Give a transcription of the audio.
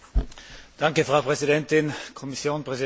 Frau Präsidentin, Kommission, Präsidentschaft!